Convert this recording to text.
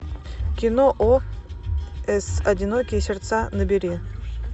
кино о с одинокие сердца набери